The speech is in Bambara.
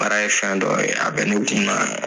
Baara ye fɛn dɔ ye, a bɛ ne kun na